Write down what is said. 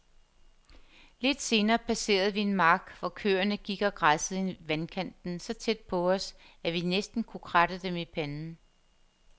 Lidt senere passerede vi en mark, hvor køerne gik og græssede i vandkanten så tæt på os, at vi næsten kunne kratte dem i panden.